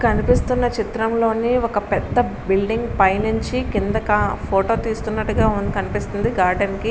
కనిపిస్తున్న చిత్రం లోని ఒక పెద్ధ బిల్డింగ్ పై నించి కిందకి ఫోటో తీస్తునట్టుగా కనిపిస్తుంది గార్డెన్ కి.